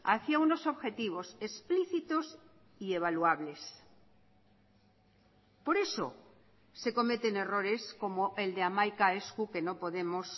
hacia unos objetivos explícitos y evaluables por eso se cometen errores como el de hamaika esku que no podemos